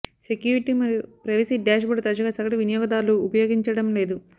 security మరియు privacy dash board తరచుగా సగటు వినియోగదారులు ఉపయోగించడంలేదు